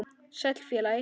Sæll, félagi